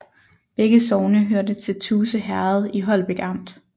Begge sogne hørte til Tuse Herred i Holbæk Amt